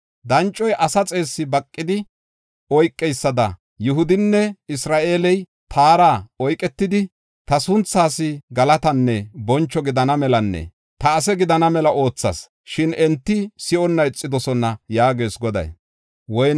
Dancoy asa xeessi baqidi oykeysada Yihudinne Isra7eeley taara oyketidi, ta sunthaas galatanne boncho gidana melanne ta ase gidana mela oothas; shin enti si7onna ixidosona” yaagees Goday.